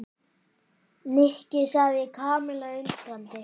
Nikki sagði Kamilla undrandi.